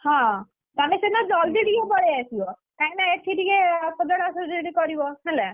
ହଁ, ତମେ ସିନା ଜଲ୍‌ଦି ଟିକେ ପଳେଇ ଆସିବ! କାହିଁକିନା ଏଠିଟିକେ ସଜଡା ସଜଡି କରିବ ହେଲା!